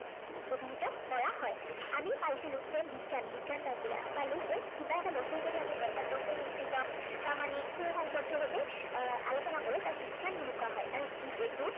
অভিহিত কৰা হয়। আমি পাইছিলো যে বিজ্ঞান, বিজ্ঞান কাক বোলে। আমি পালো যে কিব এটা বস্তুৰ যদি যথাৰ্থ, সুনিশ্চিত প্ৰামাণিক, সু সঙ্গৱদ্ধ ভাৱে আহ আলোচনা কৰো তাক বিজ্ঞান বুলি কোৱা হয়। আৰু যিহেতু